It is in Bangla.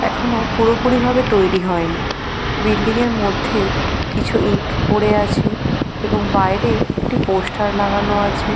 এখনো পুরোপুরি ভাবে তৈরি হয়নি বিল্ডিং -এর মধ্যে কিছু ইট পড়ে আছে এবং বাইরে একটি পোস্টার লাগানো আছে।